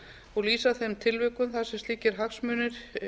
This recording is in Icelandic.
og lýsa þeim tilvikum þar sem slíkir hagsmunir